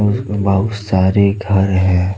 जिसमें बहुत सारे घर है।